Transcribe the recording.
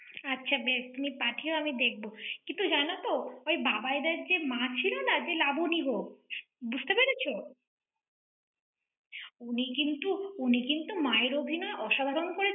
আচ্ছা বেশ৷ তুমি পাঠিয়ো, আমি দেখব। কিন্তু জানো তো, ওই বাবাইদার যে মা ছিলনা, যে নাবলি গো। বুঝতে পেরেছ? উনি কিন্তু, উনি কিন্তু মায়ের অভিনয় অসাধারণ করে~